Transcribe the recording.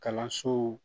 Kalansow